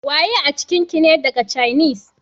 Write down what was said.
Waye a cikin ki ne daga cainis?